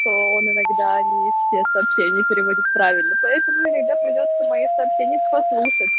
то он иногда не все сообщения переводит правильно поэтому иногда придётся мои сообщения послушать